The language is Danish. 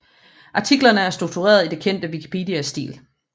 Artiklerne er struktureret i den kendte Wikipedia stil